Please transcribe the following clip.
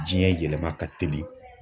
Jiɲɛ yɛlɛma ka teli.